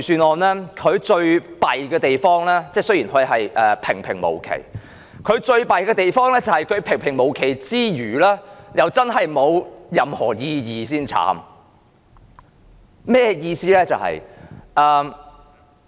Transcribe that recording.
代理主席，雖然預算案平平無奇，但預算案最差的地方是，預算案除了平平無奇外，還真的是沒有任何意義，這才糟糕。